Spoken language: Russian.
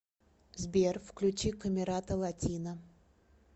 сбер включи камерата латина